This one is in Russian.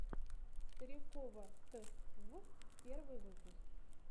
старикова т в первый выпуск